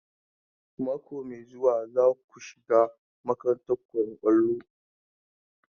Mako mai zuwa za ku shiga makarantar koyon kwallon?